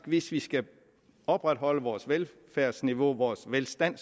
hvis vi skal opretholde vores velfærdsniveau og velstand